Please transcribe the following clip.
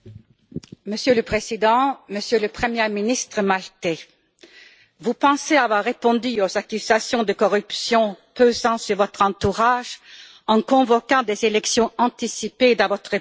Monsieur le Président, Monsieur le Premier ministre maltais, vous pensez avoir répondu aux accusations de corruption pesant sur votre entourage en convoquant des élections anticipées dans votre pays.